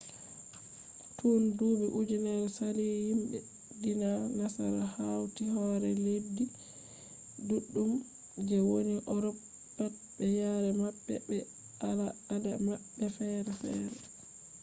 tun duuɓi ujunnere sali himɓe diina nasara hauti hore leddi ɗuɗɗum je woni urop pat be yare maɓɓe be al ada maɓɓe fere fere